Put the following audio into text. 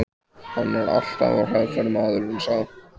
Hann er alltaf á hraðferð, maðurinn sá.